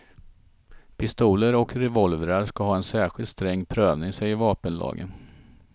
Pistoler och revolvrar ska ha en särskilt sträng prövning säger vapenlagen.